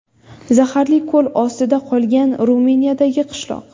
Zaharli ko‘l ostida qolgan Ruminiyadagi qishloq .